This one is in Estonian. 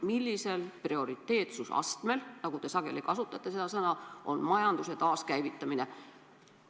Millisel prioriteetsusastmel – te sageli kasutate seda sõna – on majanduse taaskäivitamine?